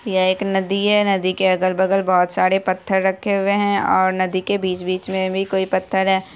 ये एक नदी है नदी के अगल-बगल बहोत सारे पत्थर रखे हुए है और नदी के बीच-बीच में भी कोई पत्थर है ।